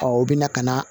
u bɛ na ka na